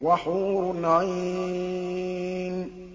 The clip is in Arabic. وَحُورٌ عِينٌ